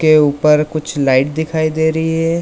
के ऊपर कुछ लाइट दिखाई दे रही है।